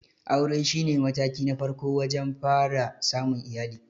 Aure shi ne mataki na farko wajen fara samun iyali.